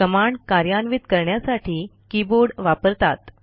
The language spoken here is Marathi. कमांड कार्यान्वित करण्यासाठी कीबोर्ड वापरतात